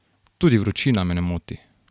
Tudi vročina me ne moti.